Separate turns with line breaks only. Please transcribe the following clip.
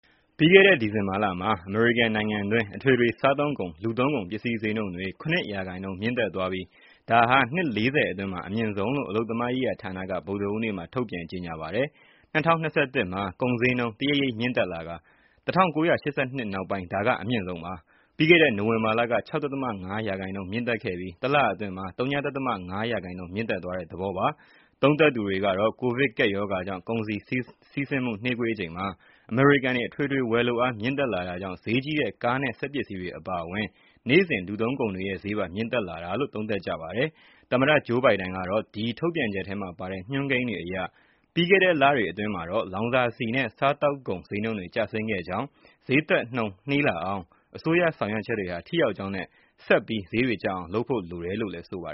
ပြီးခဲ့တဲ့ ဒီဇင်ဘာလက အမေရိကန်နိုင်ငံတွင်း အထွေထွေစားသုံးကုန်၊ လူသုံးကုန် ပစ္စည်းဈေးနှုန်းတွေ၇ ရာခိုင်နှုန်း မြင့်တက်သွားပြီး၊ ဒါဟာ နှစ် ၄၀ အတွင်းမှာ အမြင့်ဆုံးလို့ အလုပ်သမားရေးရာဌာနက ဗုဒ္ဓဟူးနေ့က ထုတ်ပြန်ကြေညာပါတယ်။ ၂၀၂၁ မှာ ကုန်ဈေးနှုန်း တရိပ်ရိပ်မြင့်တက်လာကာ ၁၉၈၂ နောက်ပိုင်း ဒါက အမြင့်ဆုံးပါ။ ပြီးခဲ့တဲ့ နိုဝင်ဘာလက ၆.၅ ရာခိုင်နှုန်း မြင့်တက်ခဲ့ပြီး တလအတွင်းမှာ ဝ.၅ ရာခိုင်နှုန်း မြင့်တက်သွားတဲ့ သဘောပါ။ သုံးသပ်သူတွေကတော့ ကိုဗစ်ကပ်ရောဂါကြောင့် ကုန်စည်းစီးဆင်းမှု နှေးကွေးချိန်မှာ အမေရိကန်တွေ အထွေထွေဝယ်လိုအား မြင့်တက်လာတာကြောင့် ဈေကြီးတဲ့ ကားနဲ့ စက်ပစ္စည်းတွေအပါအဝင် နေ့စဉ်လူသုံးကုန်တွေရဲ့ ဈေးပါ မြင့်တက်လာတာလို့ သုံးသပ်ကြပါတယ်။ သမ္မတ ဂျိုးဘိုင်ဒန်က ဒီထုတ်ပြန်ချက်ထဲမှာပါတဲ့ ညွှန်းကိန်းတွေအရ ပြီးခဲ့တဲ့ လတွေအတွင်းမှာတော့ လောင်စာဆီနဲ့ စားသောက်ကုန်ဈေးနှုန်းတွေ ကျဆင်းခဲ့ကြောင်း၊ ဈေးတက်နှုန်း နှေးလာအောင် အစိုးရဆောင်ရွက်ချက်တွေဟာ ထိရောက်ကြောင်းနဲ့ ဆက်ပြီ
း ဈေးတွေကျအောင် လုပ်ဖို့ လိုတယ်လို့ လည်း ဆိုပါ